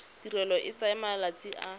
tirelo e tsaya malatsi a